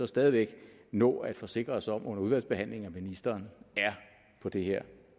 stadig væk nå at forsikre os om under udvalgsbehandlingen at ministeren er på det her